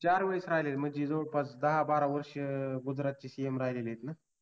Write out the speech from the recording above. चार वेळेस राहिलेत म्हणजे जवळ जवळपास दहा बारा वर्ष गुजरातचे CM राहिलेत ना